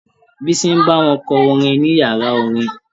Bísí ń bá wọn kọ orin ní yàrá orin.